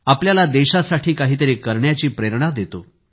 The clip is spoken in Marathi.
आपल्याला देशासाठी काहीतरी करण्याची प्रेरणा देतो